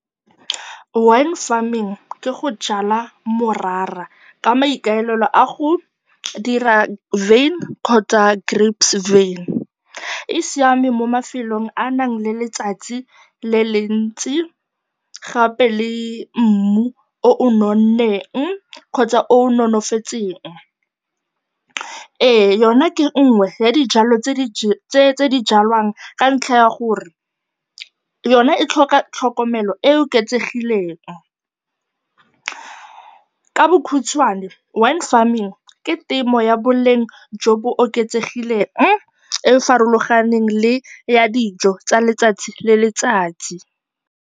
Wine farming ke go jala morara ka maikaelelo a go dira wyn kgotsa grapes wyn. E siame mo mafelong a a nang le letsatsi le le ntsi gape le mmu o o nonneng kgotsa o nonofetseng. Ee, yona ke nngwe ya dijwalo tse di jwalwang ka ntlha ya gore yona e tlhoka tlhokomelo e e oketsegileng. Ka bokhutshwane, wine farming ke temo ya boleng jo bo oketsegileng e e farologaneng le ya dijo tsa letsatsi le letsatsi.